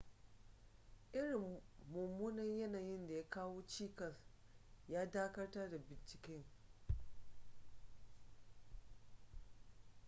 irin mummunan yanayin da ya kawo cikas ya dakatar da binciken